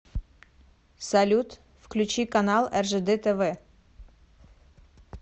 салют включи канал ржд тв